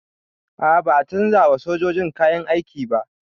A'a ba a canza wa sojojin kayan aiki ba